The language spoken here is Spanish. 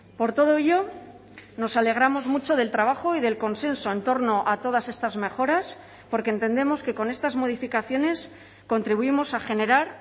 por todo ello nos alegramos mucho del trabajo y del consenso en torno a todas estas mejoras porque entendemos que con estas modificaciones contribuimos a generar